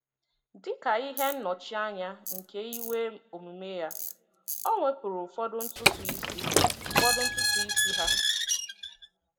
Dị ka ihe nnọchianya nke iwe omume ya, o wepụrụ ụfọdụ ntutu isi ụfọdụ ntutu isi ha.